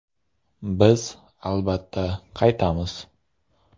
Biz, albatta, qaytamiz.